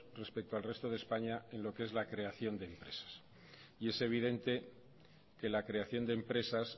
respecto al resto de españa en lo que es la creación de empresas y es evidente que la creación de empresas